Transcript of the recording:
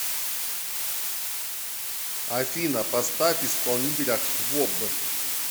афина поставь исполнителя хвоб